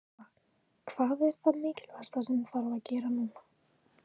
Lóa: Hvað er það mikilvægasta sem þarf að gera núna?